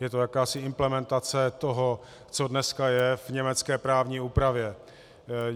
Je to jakási implementace toho, co je dneska v německé právní úpravě.